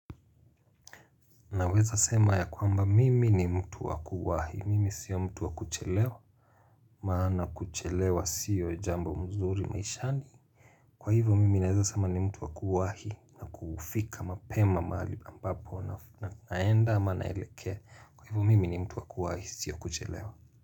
Naweza sema ya kwamba mimi ni mtu wa kuwahi, mimi sio mtu wa kuchelewa, maana kuchelewa sio jambo mzuri maishani. Kwa hivyo mimi nawezo sema ni mtu wa kuwahi na kufika mapema mahali ambapo na naenda ama naelekea, kwa hivyo mimi ni mtu wa kuwahi sio kuchelewa.